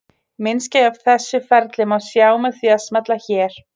Myndskeið af þessu ferli má sjá með því að smella hér.